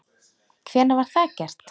Hvenær var það gert?